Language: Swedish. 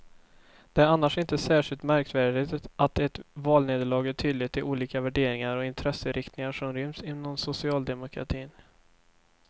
Det är annars inte särskilt märkvärdigt att ett valnederlag gör tydligt de olika värderingar och intresseinriktningar som ryms inom socialdemokratin.